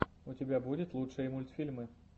у тебя будет лучшие мультфильмы